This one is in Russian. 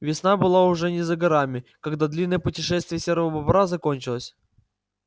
весна была уже не за горами когда длинное путешествие серого бобра закончилось